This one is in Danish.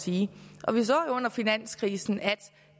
sige og vi så jo under finanskrisen at